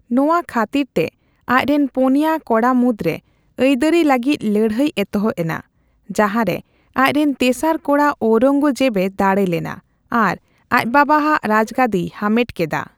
ᱱᱚᱣᱟ ᱠᱷᱟᱹᱛᱤᱨ ᱛᱮ ᱟᱡ ᱨᱮᱱ ᱯᱩᱱᱭᱟ ᱠᱚᱲᱟ ᱢᱩᱫᱽᱨᱮ ᱟᱹᱭᱫᱟᱹᱨᱤ ᱞᱟᱹᱜᱤᱫ ᱞᱟᱹᱲᱦᱟᱹᱭ ᱮᱛᱚᱦᱚᱵ ᱮᱱᱟ, ᱡᱟᱸᱦᱟ ᱨᱮ ᱟᱡ ᱨᱮᱱ ᱛᱮᱥᱟᱨ ᱠᱚᱲᱟ ᱳᱣᱨᱚᱝᱜᱚᱡᱮᱵᱼᱮ ᱫᱟᱲᱮ ᱞᱮᱱᱟ ᱟᱨ ᱟᱡ ᱵᱟᱵᱟ ᱟᱜ ᱨᱟᱡᱽᱜᱟᱹᱫᱤᱭ ᱦᱟᱢᱮᱴ ᱠᱮᱫᱟ ᱾